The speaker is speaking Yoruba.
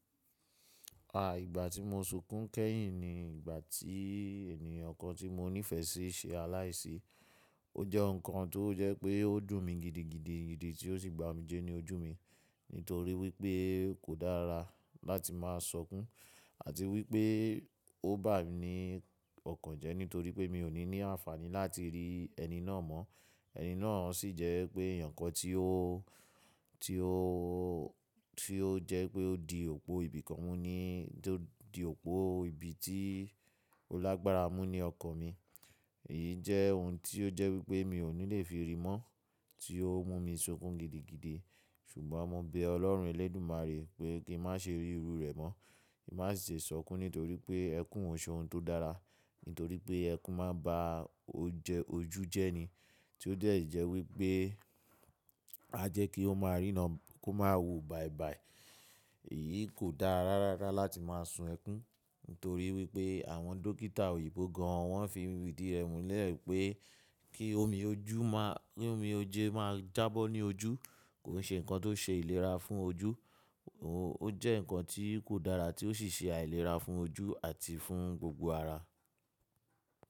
À, ìgbà tí mo sunkún kẹ́yìn ní ìgbà tí ẹniyan kan tí mo nífẹ̀ẹ́ sí ṣe aláìsí. Ó jẹ́ nǹkan tó jẹ́ pé ó dùn mi gidigidi gidi tí ó sì gba omijẹ́ ní ojú mi nítorí wípé kò dára láti máa sokún àti wípé ó bá mi ní ọkàn jẹ́ nítorí pé mi ò ní ní àǹfààní láti rí ẹni náà mọ́. Ẹni náà sì jẹ pe ẹeyan kan tí ó jẹ́ pé ó di òpó ibi kan mú ní, tí ó di òpó ibi tí ó lágbára mú ní ọkàn mi. Èyí jẹ́ ohun tí ó jẹ́ wípé mi ò ní lè fi rí i mọ́, tí ó mú mi sunkún gidigidi. Ṣùgbọ́n mo bẹ Ọlọ́run Elẹ́dùmarè pé kí n má ṣe rí irú rẹ̀ mọ́. Kí n má ṣe sunkún nítorí pé ẹkún ò ṣe ohun tó dára, nítorí pé ẹkún máa ba ojú jẹ́ ni. Tí ó dẹ̀ jẹ́ wípé a jẹ́ kí ó máa ríná, kó máa wo bàìbàì. Èyí kò dára rárá láti máa sun ẹkún nítorí wípé àwọn dókítà òyìnbó gan an wọ́n fi ìdí rẹ̀ múlẹ̀ pé kí omi ojú máa, kí omi oje má jà bó ní ojú kò ṣe nǹkan tó ṣe ìlera fún ojú. Ó jẹ́ nǹkan tí kò dára tí ó sì ṣe àìlera fún ojú àti fún gbogbo ara.